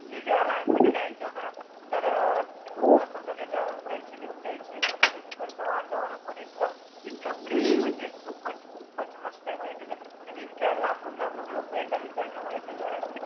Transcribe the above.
मी जेव्हा लहान पणी जायचो ना तर होत नाई का घरचे घेऊन जायचे मस्त तिकडचं वातावरण पण इतकं इतकं खूपच खूपच मस्त ए माहितीय का? आनि इतक्या लांबून लांबून लोक येतात इकडन माहितीय का?